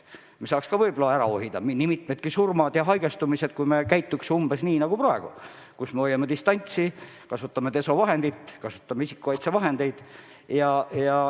Me saaks ka võib-olla ära hoida nii mitmedki surmad ja haigestumised, kui me käituks umbes nii nagu praegu, kui me hoiame distantsi, kasutame desovahendit, kasutame isikukaitsevahendeid.